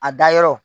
A dayɔrɔ